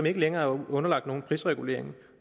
ikke længere underlagt nogen prisregulering